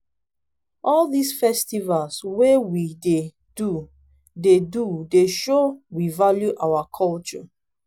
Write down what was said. all dis festival wey we dey do dey do dey show we value our culture.